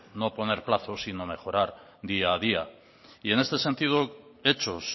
no poner plazo sino mejorar día a día y en este sentido hechos